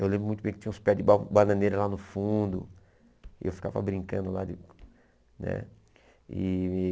Eu lembro muito bem que tinha uns pés de ba bananeira lá no fundo e eu ficava brincando lá né e.